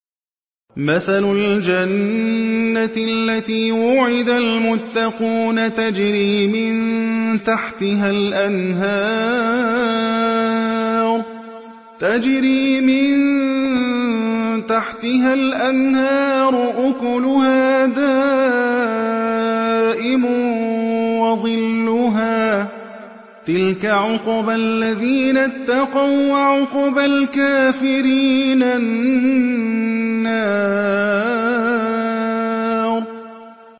۞ مَّثَلُ الْجَنَّةِ الَّتِي وُعِدَ الْمُتَّقُونَ ۖ تَجْرِي مِن تَحْتِهَا الْأَنْهَارُ ۖ أُكُلُهَا دَائِمٌ وَظِلُّهَا ۚ تِلْكَ عُقْبَى الَّذِينَ اتَّقَوا ۖ وَّعُقْبَى الْكَافِرِينَ النَّارُ